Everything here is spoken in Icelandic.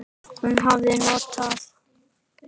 Hún hafi notað